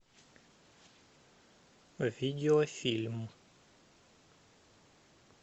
видеофильм